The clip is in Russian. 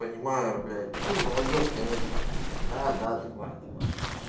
понимаю блять хули молодёжь конечно да да давай давай